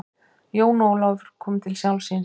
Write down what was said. Jón Ólafur kom til sjálfs sín.